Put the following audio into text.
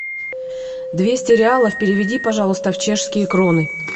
двести реалов переведи пожалуйста в чешские кроны